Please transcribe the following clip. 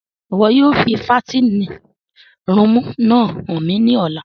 Ìwo yóò fi fàtinin rùumù náa han mi ni ọla!